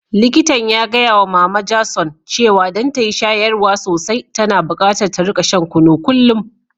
Likitan ya gaya wa mama Jason cewa don ta yi shayarwa sosai, tana bukatar ta rika shan kunu kullum.